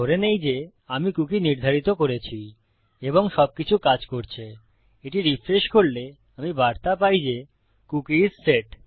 ধরে নেই যে আমি কুকী নির্ধারিত করেছি এবং সবকিছু কাজ করছে এটি রিফ্রেশ করলে আমি বার্তা পাই যে কুকি আইএস সেট